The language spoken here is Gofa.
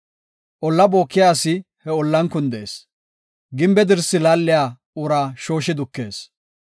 Olla bookiya asi he ollan kundees; gimbe dirsi laaliya uraa shooshi dukees.